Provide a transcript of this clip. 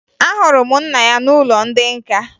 Ahụrụ m nna ya n'ụlọ ndị nka